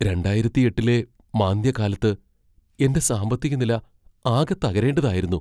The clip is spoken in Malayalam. രണ്ടായിരത്തിയെട്ടിലെ മാന്ദ്യകാലത്ത് എന്റെ സാമ്പത്തികനില ആകെ തകരേണ്ടതായിരുന്നു.